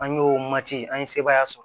An y'o mati an ye sebaaya sɔrɔ